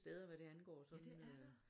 Ja det er der